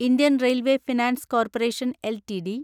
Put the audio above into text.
Indian railway finance corporation LTD